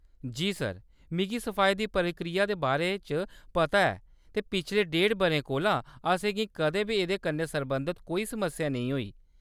जी sir, मिगी सफाई दी प्रक्रिया दे बारे च पता ऐ ते पिछले ढेड़ बʼरें कोला असेंगी कदें बी एह्‌‌‌दे कन्नै सरबंधत कोई समस्या नेईं होई।